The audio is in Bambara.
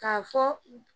K'a fɔ